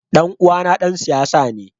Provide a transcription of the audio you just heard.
Ɗan uwana ɗan siyasa ne.